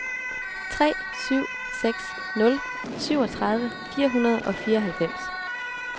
tre syv seks nul syvogtredive fire hundrede og fireoghalvfems